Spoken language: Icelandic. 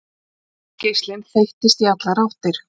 Ljósgeislinn þeyttist í allar áttir.